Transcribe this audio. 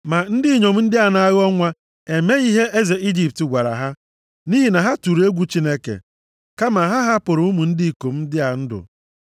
Ma ndị inyom ndị a na-aghọ nwa emeghị ihe eze Ijipt gwara ha, nʼihi na ha tụrụ egwu Chineke. Kama ha hapụrụ ụmụ ndị ikom ndị a ndụ.